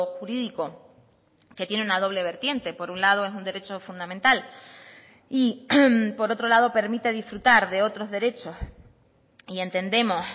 jurídico que tiene una doble vertiente por un lado es un derecho fundamental y por otro lado permite disfrutar de otros derechos y entendemos